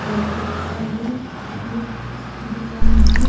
Board पे लिखा है ये उसकी दुकान है।